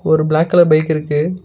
ஒரு black colour bike இருக்கு.